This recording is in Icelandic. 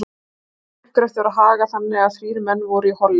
Þessum uppgreftri var hagað þannig, að þrír menn voru í holli